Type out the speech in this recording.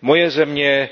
Moje země,